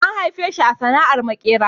An haife shi a cikin sana'ar maƙeri